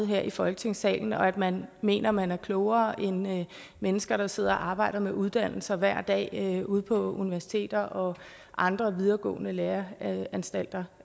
her i folketingssalen og at man mener man er klogere end mennesker der sidder og arbejder med uddannelser hver dag ude på universiteter og andre videregående læreanstalter